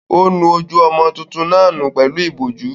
Ó nu ojú ọmọ tuntun náà nù pẹ̀lú ìbọ̀jú.